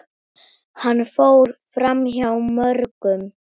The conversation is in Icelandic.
Hann fór framhjá mörgum.